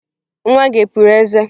Nwa gị e puru eze?